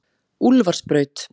Úlfarsbraut